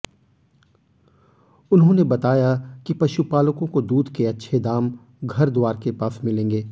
उन्होंने बताया कि पशुपालकों को दूध के अच्छे दाम घरद्वार के पास मिलेंगे